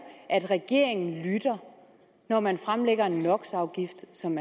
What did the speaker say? at regeringen lytter når man fremlægger en no så